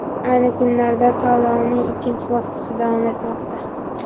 Ayni kunlarda tanlovning ikkinchi bosqichi davom etmoqda.